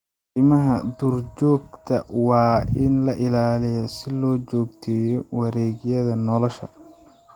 Kaymaha duurjoogta waa in la ilaaliyo si loo joogteeyo wareegyada nolosha.